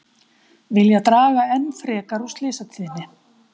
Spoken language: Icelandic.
Vilja draga enn frekar úr slysatíðni